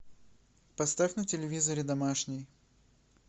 поставь на телевизоре домашний